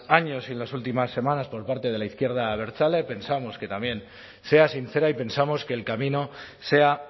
años y en las últimas semanas por parte de la izquierda abertzale pensamos que también sea sincera y pensamos que el camino sea